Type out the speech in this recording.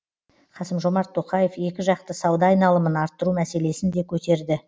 қасым жомарт тоқаев екіжақты сауда айналымын арттыру мәселесін де көтерді